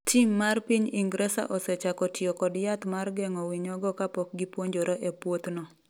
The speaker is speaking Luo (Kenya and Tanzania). Tim mar piny Ingresa osechako tiyo kod yath mar geng’o winyogo kapok gipuonjore e puothno.